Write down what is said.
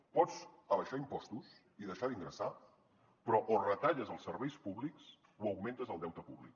pots abaixar impostos i deixar d’ingressar però o retalles els serveis públics o augmentes el deute públic